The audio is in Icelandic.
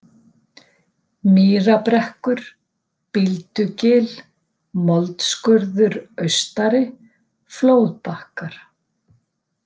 Mýrabrekkur, Bíldugil, Moldskurður Austari, Flóðbakkar